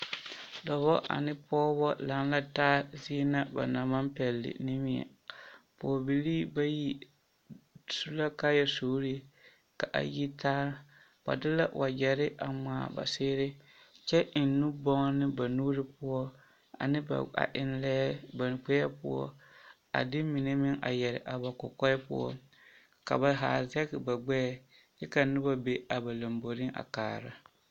Dɔbɔ ane pɔgebɔ laŋ la taa zie na ba naŋ maŋ pɛle nimmie, pɔgebilii bayi su la kaayasuurii ka a yitaa, ba de la wagyere a ŋmaa ba seere kyɛ eŋ nu bonne ba nuuri poɔ ane ba, a eŋ lɛɛ ba gbɛɛ poɔ a de mine meŋ a yɛre a ba kɔkɔɛ poɔ ka ba haa zɛge ba gbɛɛ ka noba be a ba lomboriŋ a kaara.